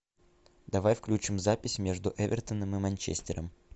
давай включим запись между эвертоном и манчестером